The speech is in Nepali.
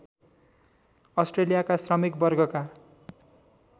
अस्ट्रेलियाका श्रमिक वर्गका